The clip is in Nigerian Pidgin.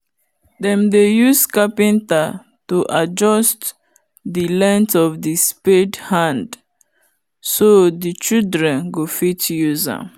them dey use carpenter to adjust the length of the spade hand so the children go fit use am